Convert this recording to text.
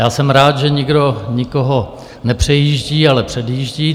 Já jsem rád, že nikdo nikoho nepřejíždí, ale předjíždí.